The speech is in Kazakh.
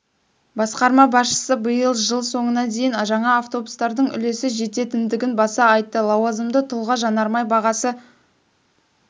басқарма басшысы биыл жыл соңына дейін жаңа авобустардың үлесі жететіндігін баса айтты лауазымды тұлға жанармай бағасы